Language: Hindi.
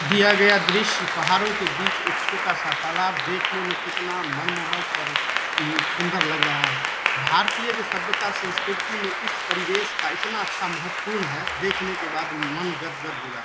दिया गया दृश्य पहाड़ों के बीच एक छोटा-सा तालाब देखने में कितना मनमोहक और उम्म सुंदर लग रहा है भारतीय जो सभ्यता संस्कृति में इस परिवेश का इतना अच्छा महत्वपूर्ण है देखने के बाद मन गदगद हो --